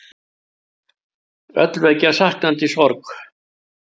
Öll vekja saknandi sorg.